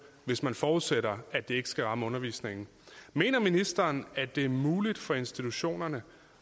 hvis man forudsætter at det ikke skal ramme undervisningen mener ministeren at det er muligt for institutionerne